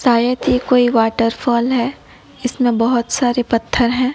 शायद ये कोई वाटर फॉल है इसमें बहुत सारे पत्थर हैं।